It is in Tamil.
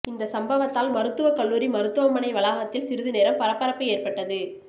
இந்த சம்பவத்தால் மருத்துவக் கல்லூரி மருத்துவமனை வளாகத்தில் சிறிது நேரம் பரபரப்பு ஏற்பட்டது